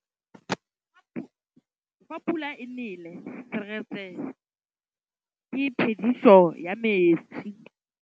Fa pula e nelê serêtsê ke phêdisô ya metsi.